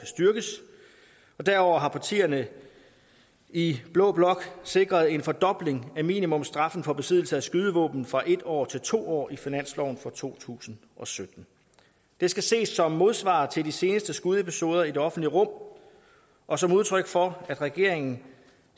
styrkes og derudover har partierne i blå blok sikret en fordobling af minimumsstraffen for besiddelse af skydevåben fra en år til to år i finansloven for to tusind og sytten det skal ses som modsvar til de seneste skudepisoder i det offentlige rum og som udtryk for at regeringen